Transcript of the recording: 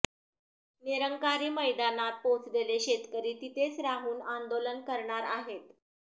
निरंकारी मैदानात पोहोचलेले शेतकरी तिथेच राहून आंदोलन करणार आहेत